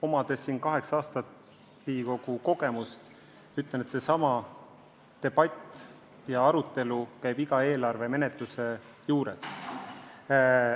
Omades kaheksa aastat kestnud Riigikogu töö kogemust, ma ütlen, et niisugune debatt ja arutelu käib eelarve menetluse juures iga kord.